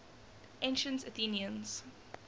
ancient athenians